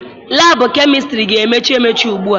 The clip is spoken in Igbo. Laabụ kemistịrị ga-emechi emechi ugbua.